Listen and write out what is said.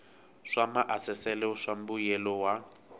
swa maasesele swa mbuyelo wa